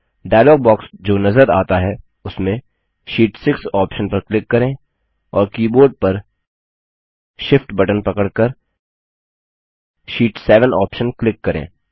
dialogue box जो नज़र आता है उसमें शीट 6 ऑप्शन पर क्लिक करें और कीबोर्ड पर Shift बटन पकड़कर शीट 7 ऑप्शन क्लिक करें